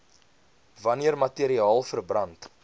wanneer materiaal verbrand